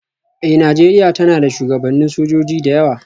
Eh, Nijeriya tana da shugabannin sojoji da yawa.